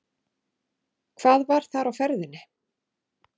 Hvað var þar á ferðinni?